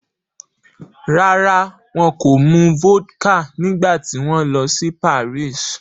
Rárá, wọn kò mu vodka nígbà tí wọ́n lọ sí Paris